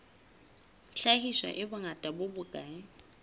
hlahiswa e bongata bo bokae